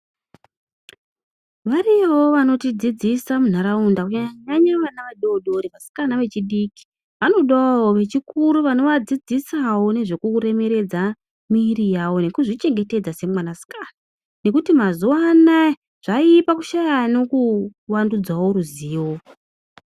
Variyowo vanotidzidzisa munharaunda Kunyanyanyanya vana vadodori vasikana vechidiki vanodawo vechikuru vanovadzidzisawo nezvekuremeredzawo miviri yavo nekuzvichengetedza semwanasikana nekuti mazuwa anaya zvaipa kushaya anokuwandudzawo ruzivo.